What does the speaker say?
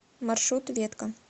маршрут ветка